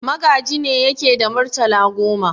Magaji ne yake da murtala goma.